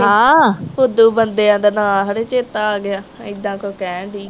ਹਾਂ ਫੁੱਦੂ ਬੰਦਿਆ ਦੇ ਨਾ ਚੇਤਾ ਆਗਿਆ ਏਦਾਂ ਕੁਛ ਕਹਿਣ ਦੀ ਆ